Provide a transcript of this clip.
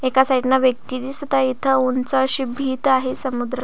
एका साईड न व्यक्ती दिसत आहे इथ उंच अशी भित आहे समुद्र--